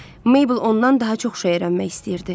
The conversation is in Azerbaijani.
Meybl ondan daha çox şey öyrənmək istəyirdi.